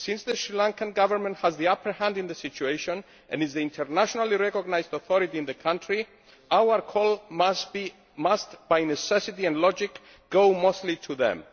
Since the Sri Lankan Government has the upper hand in the situation and is the internationally recognised authority in the country, our call must, by necessity and logic, go mostly to them.